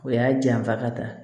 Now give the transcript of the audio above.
O y'a janfa ka taa